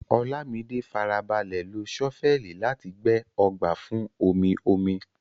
Olamide farabalẹ̀ lo ṣọ́fẹ́ẹ̀lì láti gbẹ́ ọgbà fún omi-omi.